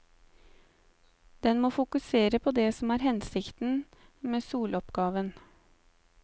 Den må fokusere på det som er hensikten med soloppgaven.